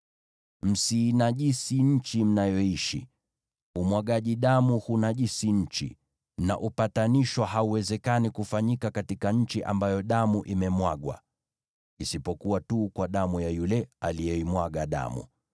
“ ‘Msiinajisi nchi mnayoishi. Umwagaji damu hunajisi nchi, na upatanisho hauwezekani kufanyika katika nchi ambayo damu imemwagwa, isipokuwa tu kwa damu ya yule aliyeimwaga damu.